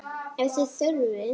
Ef þið þurfið.